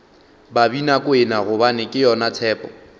babinakwena gobane ke yona tshepo